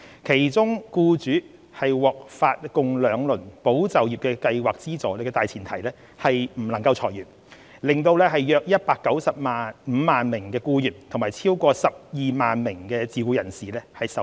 其中僱主獲發共兩輪"保就業"計劃資助的大前提是不能裁員，令約195萬名僱員及超過12萬名自僱人士受惠。